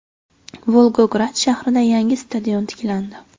Volgograd shahrida yangi stadion tiklandi.